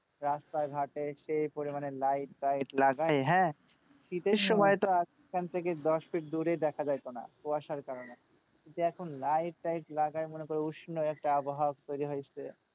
রাস্তাঘাটে সেই পরিমাণ light টাইট লাগিয়ে হ্যাঁ, শীতের সময় তো এখান থেকে দশ feet দূরেই দেখা যাইতো না কুয়াশার কারণে। কিন্তু এখন light টাইট লাগায়ে মনে করো উষ্ণ একটা আবহাওয়া তৈরি হয়েছে।